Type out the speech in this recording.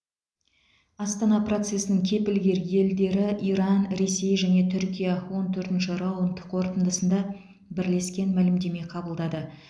астана процесінің кепілгер елдері иран ресей және түркия он төртінші раунд қорытындысында бірлескен мәлімдеме қабылдады